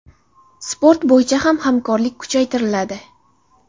Sport bo‘yicha ham hamkorlik kuchaytiriladi.